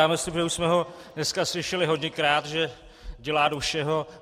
Já myslím, že už jsme ho dneska slyšeli hodněkrát, že dělá do všeho.